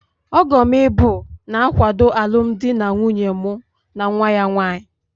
Ọgom ịbụ, na-akwado alụmdi na nwunye mụ na nwa ya nwanyị.